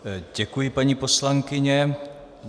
Děkuji, paní poslankyně.